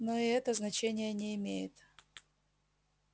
но и это значения не имеет